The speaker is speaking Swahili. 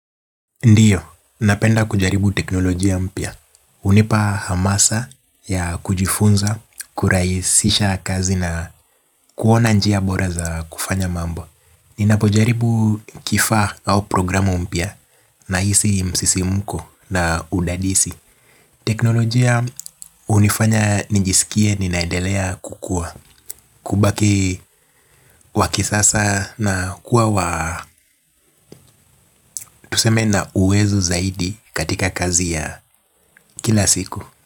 Ndiyo, napenda kujaribu teknolojia mpya. Hunipa hamasa ya kujifunza, kurahisisha kazi na kuona njia bora za kufanya mambo. Ninapojaribu kifaa au programu mpya nahisi msisimko na udadisi. Teknolojia hunifanya nijisikie ninaedelea kukua. Kubaki wakisasa na kuwa wa tuseme na uwezo zaidi katika kazi ya kila siku kwa hivyo.